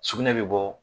Sugunɛ bɛ bɔ